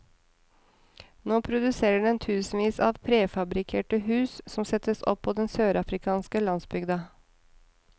Nå produserer den tusenvis av prefabrikkerte hus, som settes opp på den sørafrikanske landsbygda.